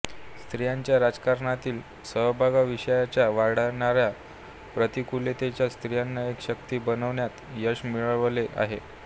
स्त्रीच्या राजकारणातील सहभागाविषयीच्या वाढणाऱ्या प्रतिकूलतेला स्त्रियांनी एक शक्ती बनवण्यात यश मिळवले आहे